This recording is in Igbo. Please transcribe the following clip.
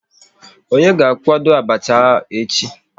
Onye ga akwado abacha echi?